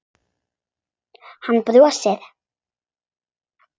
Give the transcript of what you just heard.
Hann brosti.